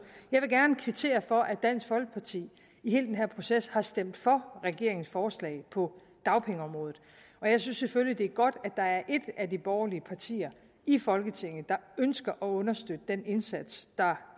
jeg vil gerne kvittere for at dansk folkeparti i hele den her proces har stemt for regeringens forslag på dagpengeområdet og jeg synes selvfølgelig det er godt at der er et af de borgerlige partier i folketinget der ønsker at understøtte den indsats der